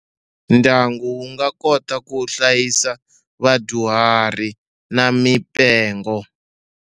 Ndyangu wu nga kota ku hlayisa vadyuhari na mipengo.